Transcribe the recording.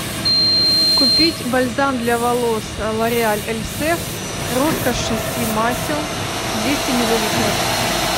купить бальзам для волос лореаль эльсев роскошь шести масел двести миллилитров